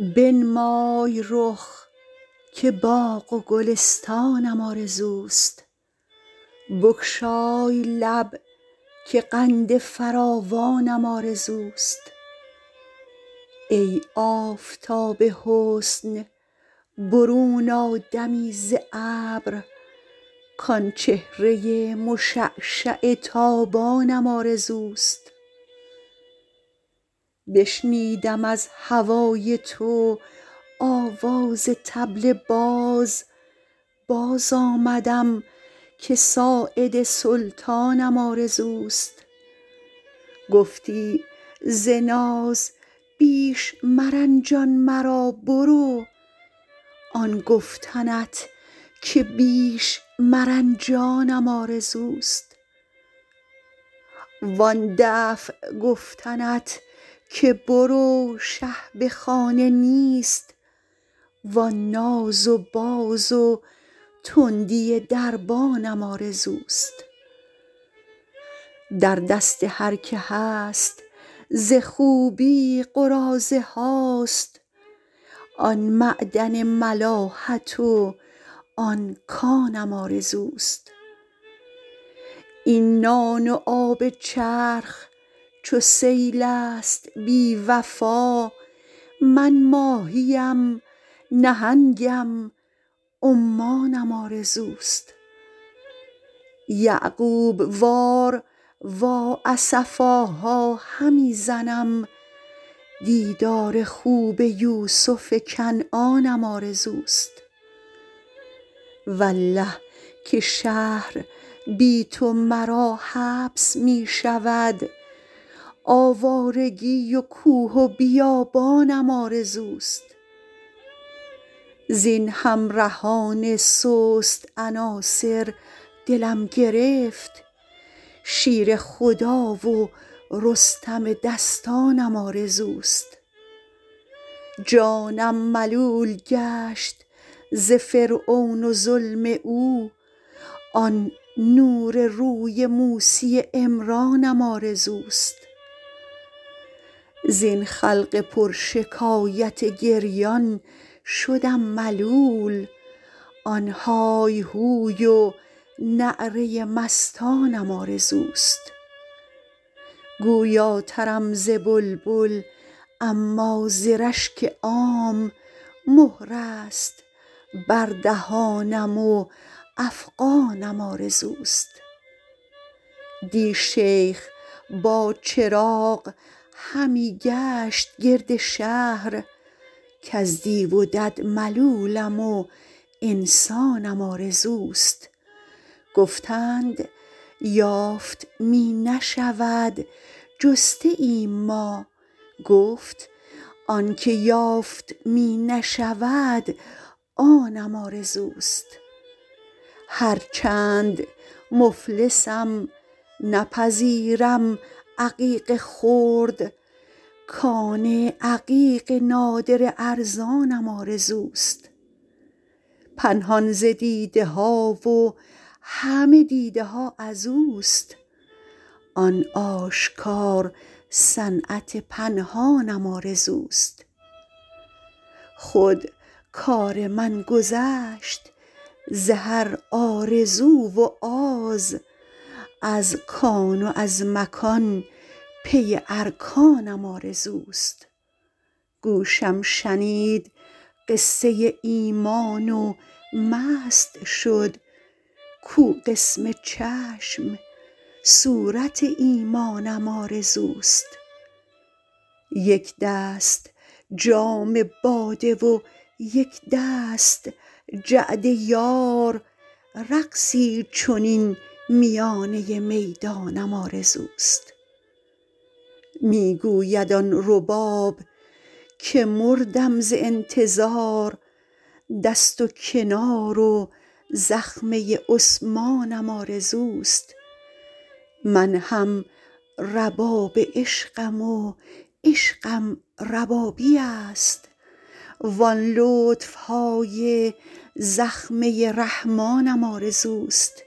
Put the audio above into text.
بنمای رخ که باغ و گلستانم آرزوست بگشای لب که قند فراوانم آرزوست ای آفتاب حسن برون آ دمی ز ابر کآن چهره مشعشع تابانم آرزوست بشنودم از هوای تو آواز طبل باز باز آمدم که ساعد سلطانم آرزوست گفتی ز ناز بیش مرنجان مرا برو آن گفتنت که بیش مرنجانم آرزوست وآن دفع گفتنت که برو شه به خانه نیست وآن ناز و باز و تندی دربانم آرزوست در دست هر که هست ز خوبی قراضه هاست آن معدن ملاحت و آن کانم آرزوست این نان و آب چرخ چو سیل است بی وفا من ماهی ام نهنگم و عمانم آرزوست یعقوب وار وا اسفاها همی زنم دیدار خوب یوسف کنعانم آرزوست والله که شهر بی تو مرا حبس می شود آوارگی و کوه و بیابانم آرزوست زین همرهان سست عناصر دلم گرفت شیر خدا و رستم دستانم آرزوست جانم ملول گشت ز فرعون و ظلم او آن نور روی موسی عمرانم آرزوست زین خلق پرشکایت گریان شدم ملول آن های هوی و نعره مستانم آرزوست گویاترم ز بلبل اما ز رشک عام مهر است بر دهانم و افغانم آرزوست دی شیخ با چراغ همی گشت گرد شهر کز دیو و دد ملولم و انسانم آرزوست گفتند یافت می نشود جسته ایم ما گفت آن چه یافت می نشود آنم آرزوست هرچند مفلسم نپذیرم عقیق خرد کان عقیق نادر ارزانم آرزوست پنهان ز دیده ها و همه دیده ها از اوست آن آشکار صنعت پنهانم آرزوست خود کار من گذشت ز هر آرزو و آز از کان و از مکان پی ارکانم آرزوست گوشم شنید قصه ایمان و مست شد کو قسم چشم صورت ایمانم آرزوست یک دست جام باده و یک دست جعد یار رقصی چنین میانه میدانم آرزوست می گوید آن رباب که مردم ز انتظار دست و کنار و زخمه عثمانم آرزوست من هم رباب عشقم و عشقم ربابی است وآن لطف های زخمه رحمانم آرزوست